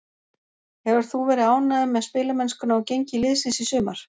Hefur þú verið ánægður með spilamennskuna og gengi liðsins í sumar?